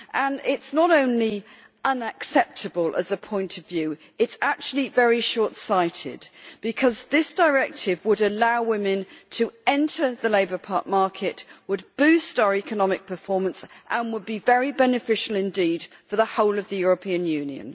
This is not only unacceptable, as a point of view, it is actually very short sighted, because the directive would allow women to enter the labour market, would boost our economic performance and would be very beneficial indeed for the whole of the European Union.